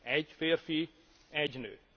Egy férfi, egy nő.